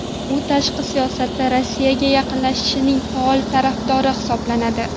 U tashqi siyosatda Rossiyaga yaqinlashishning faol tarafdori hisoblanadi.